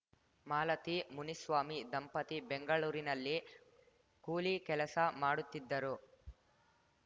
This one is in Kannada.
ಮಾಲತಿ ಮುನಿಸ್ವಾಮಿ ದಂಪತಿ ಬೆಂಗಳೂರಿನಲ್ಲಿ ಕೂಲಿ ಕೆಲಸ ಮಾಡುತ್ತಿದ್ದರು